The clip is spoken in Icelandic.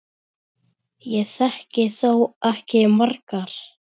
Ég þekki þó ekki margar.